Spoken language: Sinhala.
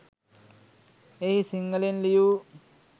එහි සිංහලෙන් ලියූ